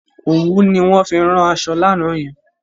Òwú ni wọ́n fi rán aṣọ lánàá yen.